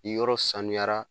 Ni yɔrɔ sanuyara